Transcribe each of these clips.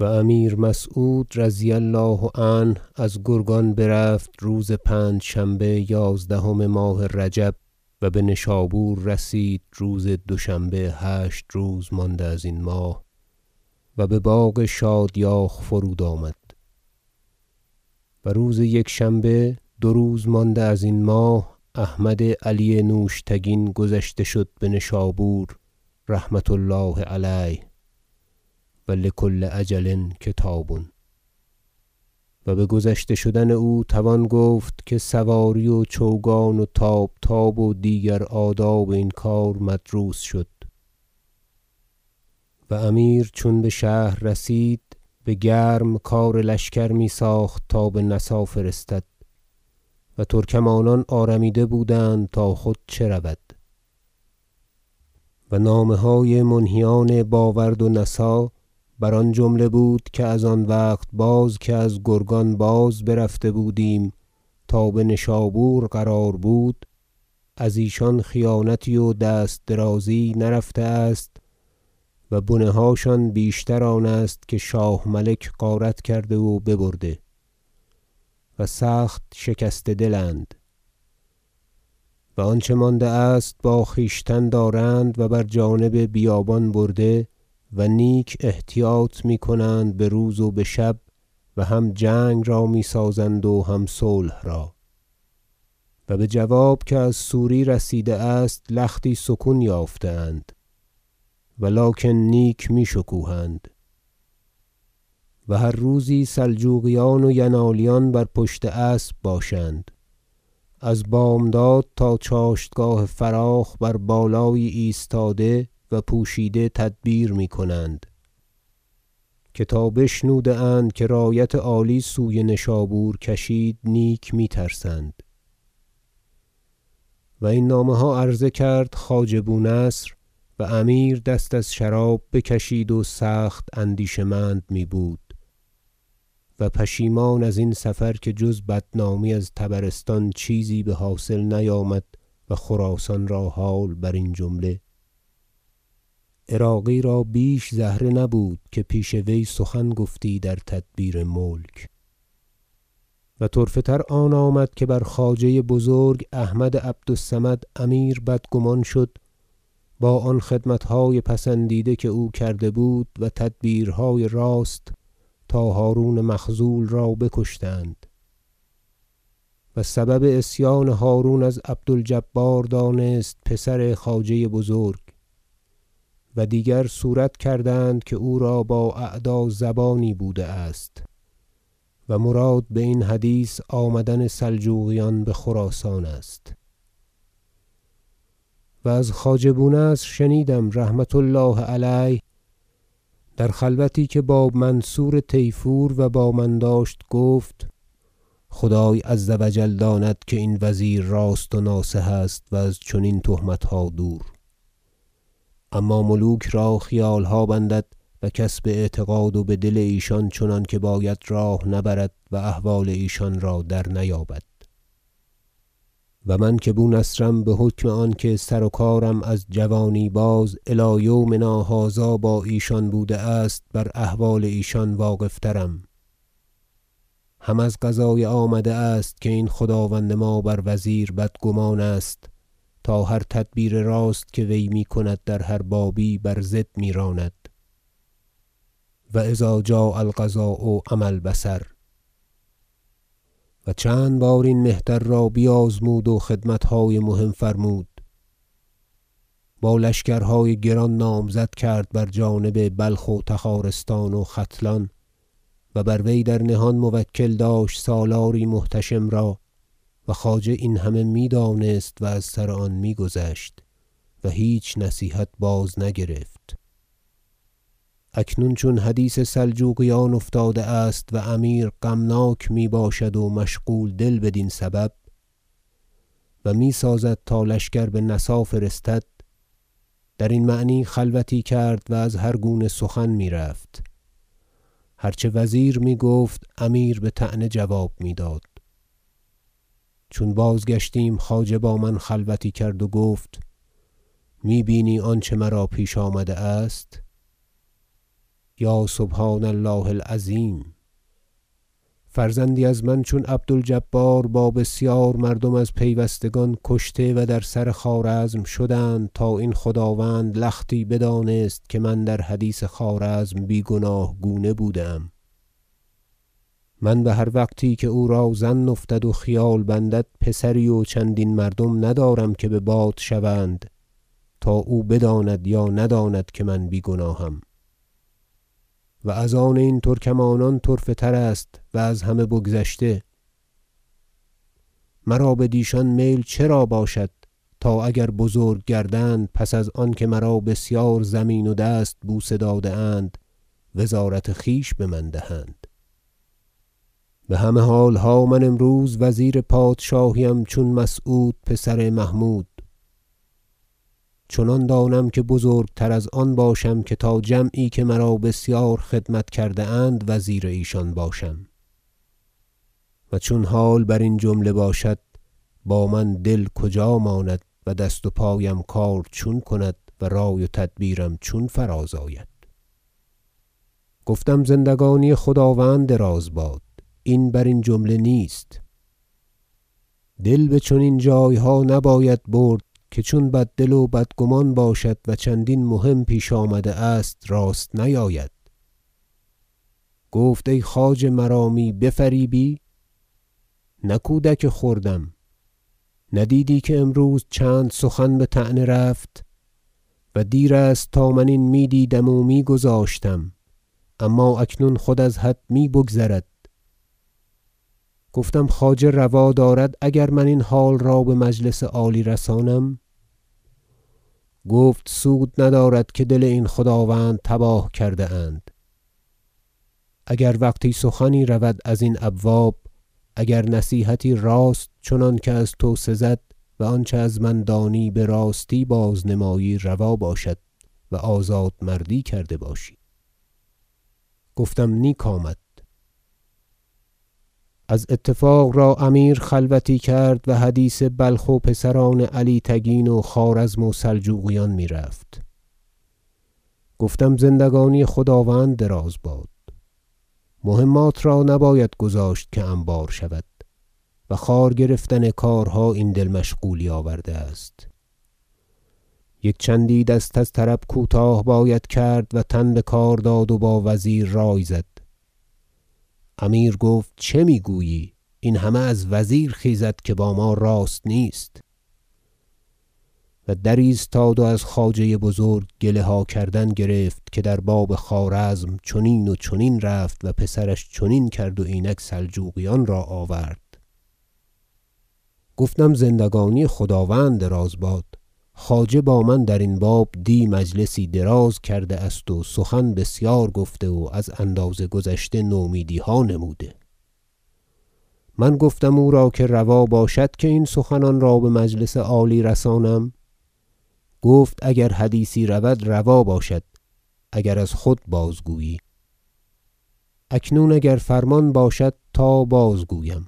و امیر مسعود رضی الله عنه از گرگان برفت روز پنجشنبه یازدهم ماه رجب و بنشابور رسید روز دوشنبه هشت روز مانده ازین ماه و بباغ شادیاخ فرود آمد و روز یکشنبه دو روز مانده ازین ماه احمد علی نوشتگین گذشته شد بنشابور رحمة الله علیه و لکل اجل کتاب و بگذشته شدن او توان گفت که سواری و چوگان و طاب- طاب و دیگر آداب این کار مدروس شد و امیر چون بشهر رسید بگرم کار لشکر میساخت تا بنسا فرستد و ترکمانان آرامیده بودند تا خود چه رود و نامه های منهیان با ورد و نسا بر آن جمله بود که از آن وقت باز که از گرگان برفته بودیم تا بنشابور قرار بود از ایشان خیانتی و دست درازی یی نرفته است و بنه هاشان بیشتر آن است که شاه ملک غارت کرده و ببرده و سخت شکسته دل اند و آنچه مانده است با خویشتن دارند و بر جانب بیابان برده و نیک احتیاط میکنند بروز و بشب و هم جنگ را میسازند و هم صلح را و بجواب که از سوری رسیده است لختی سکون یافته اند ولکن نیک می شکوهند و هر روزی سلجوقیان و ینالیان بر پشت اسب باشند از بامداد تا چاشتگاه فراخ بر بالایی ایستاده و پوشیده تدبیر میکنند که تا بشنوده اند که رایت عالی سوی نشابور کشید نیک می ترسند و این نامه ها عرضه کرد خواجه بونصر و امیر دست از شراب بکشید و سخت اندیشه مند میبود و پشیمان ازین سفر که جز بدنامی از طبرستان چیزی بحاصل نیامد و خراسان را حال برین جمله عراقی را بیش زهره نبود که پیش وی سخن گفتی در تدبیر ملک و طرفه تر آن آمد که بر خواجه بزرگ احمد عبد الصمد امیر بدگمان شد با آن خدمتهای پسندیده که او کرده بود و تدبیرهای راست تا هرون مخذول را بکشتند و سبب عصیان هرون از عبد الجبار دانست پسر خواجه بزرگ و دیگر صورت کردند که او را با اعدازبانی بوده است و مراد باین حدیث آمدن سلجوقیان بخراسان است و از خواجه بونصر شنیدم رحمة الله علیه در خلوتی که با منصور طیفور و با من داشت گفت خدای عز و جل داند که این وزیر راست و ناصح است و از چنین تهمتها دور اما ملوک را خیالها بندد و کس باعتقاد و بدل ایشان چنانکه باید راه نبرد و احوال ایشان را درنیابد و من که بونصرم بحکم آنکه سرو- کارم از جوانی باز الی یومنا هذا با ایشان بوده است بر احوال ایشان واقف- ترم هم از قضای آمده است که این خداوند ما بر وزیر بدگمان است تا هر تدبیر راست که وی میکند در هر بابی بر ضد میراند و اذا جاء القضا عمی البصر و چند بار این مهتر را بیازمود و خدمتهای مهم فرمود با لشکرهای گران نامزد کرد بر جانب بلخ و تخارستان و ختلان و بر وی در نهان موکل داشت سالاری محتشم را و خواجه این همه میدانست و از سر آن میگذشت و هیچ نصیحت بازنگرفت اکنون چون حدیث سلجوقیان افتاده است و امیر غمناک میباشد و مشغول دل بدین سبب و میسازد تا لشکر بنسا فرستد درین معنی خلوتی کرد و از هر گونه سخن میرفت هر چه وزیر میگفت امیر بطعنه جواب میداد چون بازگشتیم خواجه با من خلوتی کرد و گفت می بینی آنچه مرا پیش آمده است یا سبحان الله العظیم فرزندی از من چون عبد الجبار با بسیار مردم از پیوستگان کشته و در سر خوارزم شدند تا این خداوند لختی بدانست که من در حدیث خوارزم بی گناه گونه بوده ام من بهر وقتی که او را ظن افتد و خیال بندد پسری و چندین مردم ندارم که بباد شوند تا او بداند یا نداند که من بی گناهم و از آن این ترکمانان طرفه تر است و از همه بگذشته مرا بدیشان میل چرا باشد تا اگر بزرگ گردند پس از آن که مرا بسیار زمین و دست بوسه داده اند وزارت خویش بمن دهند بهمه حالها من امروز وزیر پادشاهی ام چون مسعود پسر محمود چنان دانم که بزرگتر از آن باشم که تا جمعی که مرا بسیار خدمت کرده اند وزیر ایشان باشم و چون حال برین جمله باشد با من دل کجا ماند و دست و پایم کار چون کند و رای و تدبیرم چون فراز آید گفتم زندگانی خداوند دراز باد این برین جمله نیست دل بچنین جایها نباید برد که چون بددل و بدگمان باشد و چندین مهم پیش آمده است راست نیاید گفت ای خواجه مرا می بفریبی نه کودک خردم ندیدی که امروز چند سخن بطعنه رفت و دیر است تا من این میدیدم و می گذاشتم اما اکنون خود از حد می بگذرد گفتم خواجه روا دارد اگر من این حال به مجلس عالی رسانم گفت سود ندارد که دل این خداوند تباه کرده اند اگر وقتی سخنی رود ازین ابواب اگر نصیحتی راست چنانکه از تو سزد و آنچه از من دانی براستی باز نمایی روا باشد و آزاد مردی کرده باشی گفتم نیک آمد از اتفاق را امیر خلوتی کرد و حدیث بلخ و پسران علی تگین و خوارزم و سلجوقیان میرفت گفتم زندگانی خداوند دراز باد مهمات را نباید گذاشت که انبار شود و خوار گرفتن کارها این دل مشغولی آورده است یک چندی دست از طرب کوتاه باید کرد و تن بکار داد و با وزیر رای زد امیر گفت چه میگویی این همه از وزیر خیزد که با ما راست نیست و درایستاد و از خواجه بزرگ گله ها کردن گرفت که در باب خوارزم چنین و چنین رفت و پسرش چنین کرد و اینک سلجوقیان را آورد گفتم زندگانی خداوند دراز باد خواجه با من درین باب دی مجلسی دراز کرده است و سخن بسیار گفته و از اندازه گذشته نومیدیها نموده من گفتم او را که روا باشد که این سخنان را بمجلس عالی رسانم گفت اگر حدیثی رود روا باشد اگر از خود بازگویی اکنون اگر فرمان باشد تا بازگویم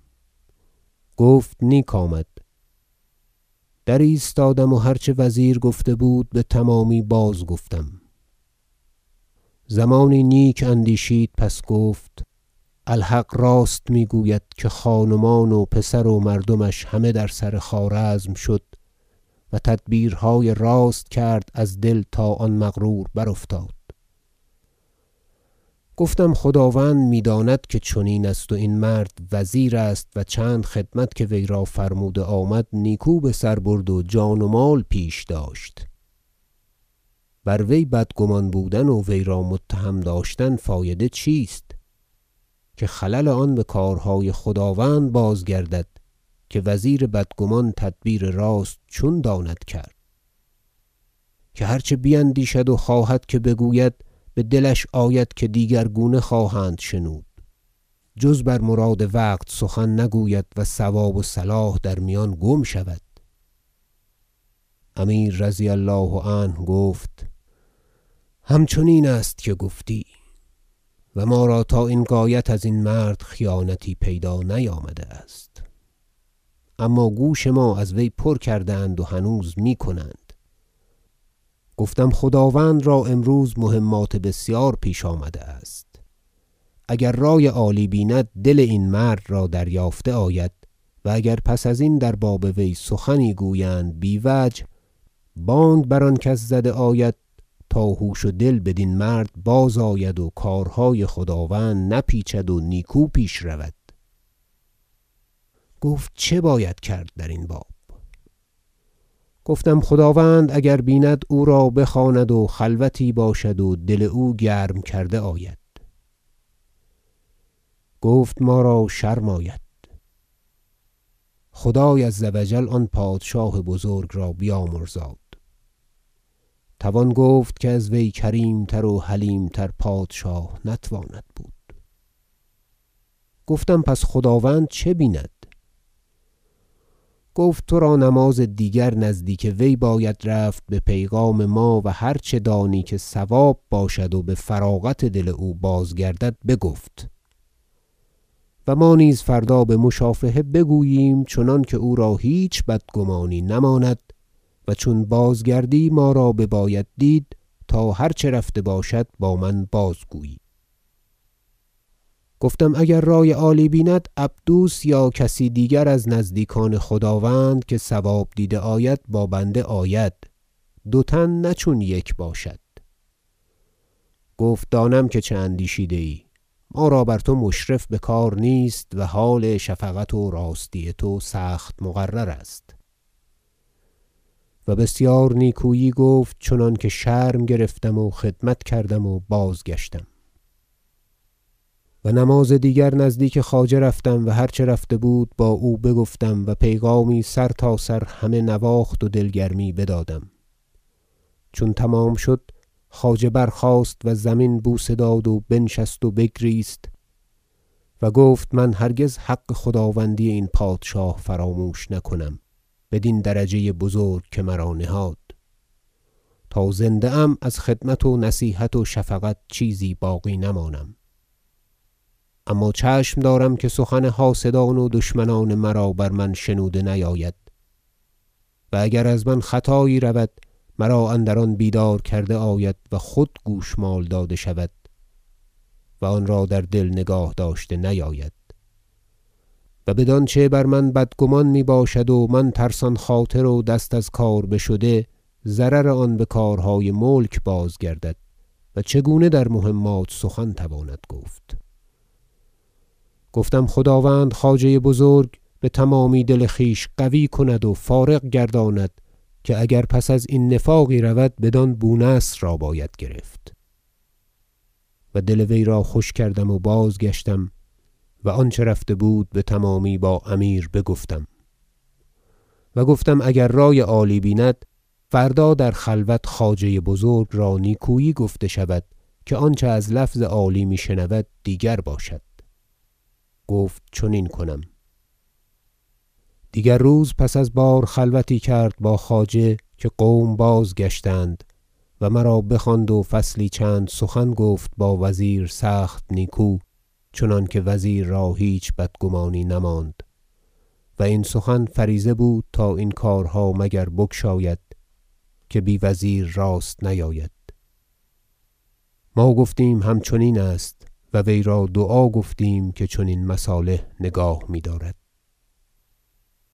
گفت نیک آمد درایستادم و هر چه وزیر گفته بود بتمامی بازگفتم زمانی نیک اندیشید پس گفت الحق راست میگوید که خان و مان و پسر و مردمش همه در سر خوارزم شد و تدبیر- های راست کرد از دل تا آن مغرور برافتاد گفتم چون خداوند میداند که چنین است و این مرد وزیر است و چند خدمت که وی را فرموده آمد نیکو بسر برد و جان و مال پیش داشت بر وی بدگمان بودن و وی را متهم داشتن فایده چیست که خلل آن بکارهای خداوند بازگردد که وزیر بدگمان تدبیر راست چون داند کرد که هر چه بیندیشد و خواهد که بگوید بدلش آید که دیگرگونه خواهند شنود جز بر مراد وقت سخن نگوید و صواب و صلاح در میان گم شود امیر رضی الله عنه گفت همچنین است که گفتی و ما را تا این غایت ازین مرد خیانتی پیدا نیامده است اما گوش ما از وی پر کرده اند و هنوز میکنند گفتم خداوند را امروز مهمات بسیار پیش آمده است اگر رای عالی بیند دل این مرد را دریافته آید و اگر پس ازین در باب وی سخنی گویند بی وجه بانگ بر آن کس زده آید تا هوش و دل بدین مرد بازآید و کارهای خداوند نپیچد و نیکو پیش رود گفت چه باید کرد درین باب گفتم خداوند اگر بیند او را بخواند و خلوتی باشد و دل او گرم کرده آید گفت ما را شرم آید- خدای عز و جل آن پادشاه بزرگ را بیامرزاد توان گفت که از وی کریمتر و حلیم تر پادشاه نتواند بود- گفتم پس خداوند چه بیند گفت ترا نماز دیگر نزدیک وی باید رفت به پیغام ما و هر چه دانی که صواب باشد و بفراغت دل او بازگردد بگفت و ما نیز فردا بمشافهه بگوییم چنانکه او را هیچ بدگمانی نماند و چون بازگردی ما را بباید دید تا هر چه رفته باشد با من بازگویی گفتم اگر رای عالی بیند عبدوس یا کسی دیگر از نزدیکان خداوند که صواب دیده آید با بنده آید دو تن نه چون یک تن باشد گفت دانم که چه اندیشیده ای ما را بر تو مشرف بکار نیست و حال شفقت و راستی تو سخت مقرر است و بسیار نیکویی گفت چنانکه شرم گرفتم و خدمت کردم و بازگشتم و نماز دیگر نزدیک خواجه رفتم و هر چه رفته بود با او بگفتم و پیغامی سرتاسر همه نواخت و دلگرمی بدادم چون تمام شد خواجه برخاست و زمین بوسه داد و بنشست و بگریست و گفت من هرگز حق خداوندی این پادشاه فراموش نکنم بدین درجه بزرگ که مرا نهاد تا زنده ام از خدمت و نصیحت و شفقت چیزی باقی نمانم اما چشم دارم که سخن حاسدان و دشمنان مرا بر من شنوده نیاید و اگر از من خطایی رود مرا اندر آن بیدار کرده آید و خود گوشمال داده شود و آنرا در دل نگاه داشته نیاید و بدانچه بر من بدگمان میباشد و من ترسان خاطر و دست از کار بشده ضرر آن بکارهای ملک بازگردد و چگونه در مهمات سخن تواند گفت گفتم خداوند خواجه بزرگ بتمامی دل خویش قوی کند و فارغ گرداند که اگر پس ازین نفاقی رود بدان بونصر را باید گرفت و دل وی را خوش کردم و بازگشتم و آنچه رفته بود بتمامی با امیر بگفتم و گفتم اگر رای عالی بیند فردا در خلوت خواجه بزرگ را نیکویی گفته شود که آنچه از لفظ عالی میشنود دیگر باشد گفت چنین کنم دیگر روز پس از بار خلوتی کرد با خواجه که قوم بازگشتند و مرا بخواند و فصلی چند سخن گفت با وزیر سخت نیکو چنانکه وزیر را هیچ بدگمانی نماند و این سخن فریضه بود تا این کارها مگر بگشاید که بی وزیر راست نیاید ما گفتیم همچنین است و وی را دعا گفتیم که چنین مصالح نگاه میدارد